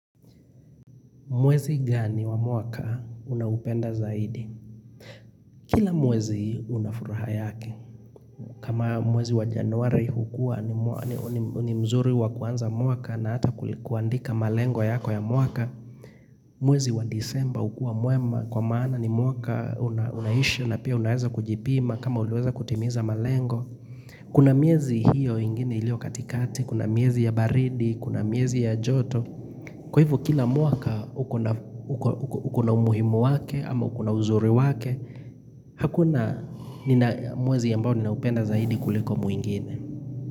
Mwezi gani wa mwaka unaupenda zaidi? Kila mwezi unafuraha yake kama mwezi wa januari hukua ni mzuri wa kuanza mwaka na hata kuandika malengo yako ya mwaka. Mwezi wa desemba hukua mwema kwa maana ni mwaka unaisha na pia unaweza kujipima kama uliweza kutimiza malengo. Kuna miezi hiyo ingine ilio katikati, kuna miezi ya baridi, kuna miezi ya joto. Kwa hivyo kila mwaka ukona umuhimu wake ama ukona uzuri wake, hakuna mwezi ambao ninaupenda zaidi kuliko mwingine.